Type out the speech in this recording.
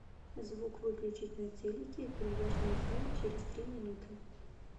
звук выключить на телике в бильярдном зале через три минуты